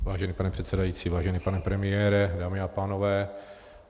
Vážený pane předsedající, vážený pane premiére, dámy a pánové.